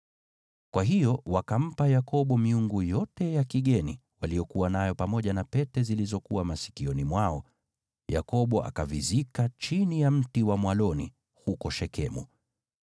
Kwa hiyo wakampa Yakobo miungu yote ya kigeni waliyokuwa nayo, pamoja na pete zilizokuwa masikioni mwao. Yakobo akavizika chini ya mti wa mwaloni huko Shekemu.